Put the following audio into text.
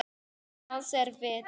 Nafn hans er Vetur.